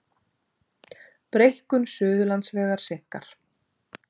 Breikkun Suðurlandsvegar seinkar